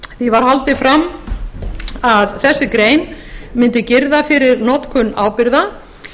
því var haldið fram að þessi grein mundi girða fyrir notkun ábyrgða